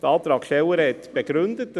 Die Antragstellerin hat es begründet.